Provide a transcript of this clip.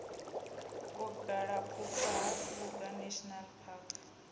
vhugalaphukha ha kruger national park